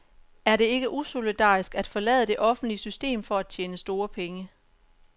Er det ikke usolidarisk at forlade det offentlige system for at tjene store penge.